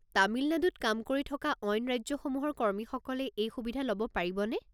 তামিলনাডুত কাম কৰি থকা অইন ৰাজ্যসমূহৰ কৰ্মীসকলে এই সুবিধা ল'ব পাৰিবনে?